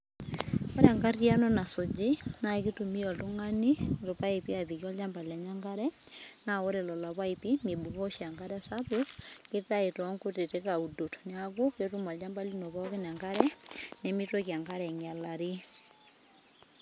ore enkariano nasuji na kitumia oltungani ilpaipi apikie olchamba lenye enkare, na ore lelo pipi mibuko oshi enkare sapuk kitayu tonkituti audok niaku ketum olchamba lino pooki enkare nemitoki enkare ainyialari,